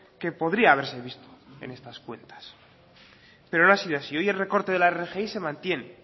que podría haberse visto en estas cuentas pero no ha sido así hoy el recorte de la rgi se mantiene